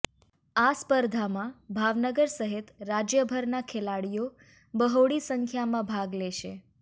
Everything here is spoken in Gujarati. આ સ્પર્ધામાં ભાવનગર સહિત રાજ્યભરના ખેલાડીઓ બહોળી સંખ્યામાં ભાગ લેશે